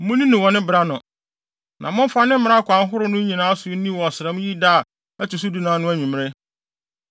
Munni no wɔ ne bere ano, na mofa ne mmara akwan ahorow no nyinaa so nni wɔ ɔsram yi da a ɛto so dunan no anwummere.”